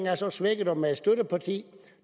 er så svækket og med et støtteparti